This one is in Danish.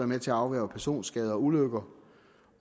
med til at afværge personskader og ulykker